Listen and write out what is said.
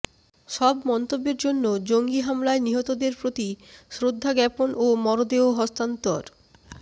সব মন্তব্যের জন্য জঙ্গি হামলায় নিহতদের প্রতি শ্রদ্ধা জ্ঞাপন ও মরদেহ হস্তান্তর